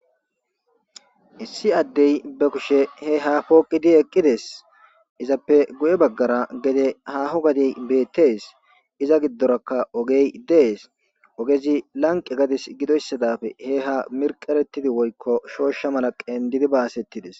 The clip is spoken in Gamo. Issi addey ba kushe he ha poqidi eqidezi eqidezes. Izape guye bagara gede haho gade betesi iza gidoraka oggeyi dessi. Ogezi laniqe gade gidoyisaza he ha miriqeretidi woyiko shosha mala gidizi basetis